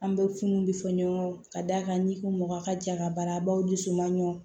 An bɛ funu bɛ fɔ ɲɔgɔn kɔ ka d'a kan n'i ko mɔgɔ a ka jagabaraw dusu man ɲɔgɔn